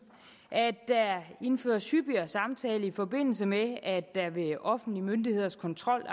at der indføres hyppigere samtaler i forbindelse med at der ved offentlige myndigheders kontrol